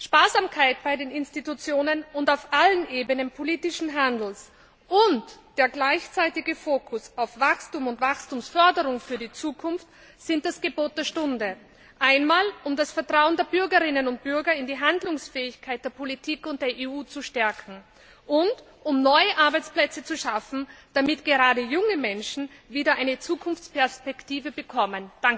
Sparsamkeit bei den Institutionen und auf allen Ebenen politischen Handelns und der gleichzeitige Fokus auf Wachstum und Wachstumsförderung für die Zukunft sind das Gebot der Stunde, einmal, um das Vertrauen der Bürgerinnen und Bürger in die Handlungsfähigkeit der Politik und der EU zu stärken, und um neue Arbeitsplätze zu schaffen, damit gerade junge Menschen wieder eine Zukunftsperspektive bekommen.